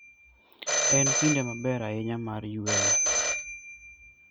En kinde maber ahinya mar yueyo.